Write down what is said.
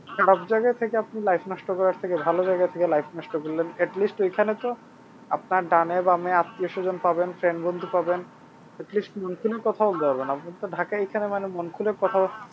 এরকম জায়গা থেকে আপনি life নষ্ট করার থেকে ভালো জায়গা থেকে life নষ্ট করলে at least এইখানে তো আপনার ডানে বামে আত্মীয়-স্বজন পাবেন friend জনকে পাবেন at least মন খুলে কথা বলতে পারবেন আমি তো ঢাকায় এইখানে মানে মন খুলে কথা